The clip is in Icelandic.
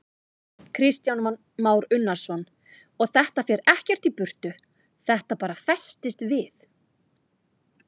Kristján Már Unnarsson: Og þetta fer ekkert í burtu, þetta bara festist við?